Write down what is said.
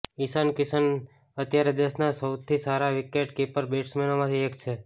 ઈશાન કિશન અત્યારે દેશનાં સૌથી સારા વિકેટકીપર બેટ્સમેનોમાંથી એક છે